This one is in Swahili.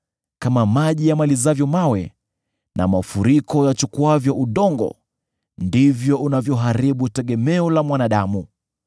kama maji yamalizavyo mawe, na mafuriko yachukuavyo udongo, ndivyo unavyoharibu tegemeo la mwanadamu.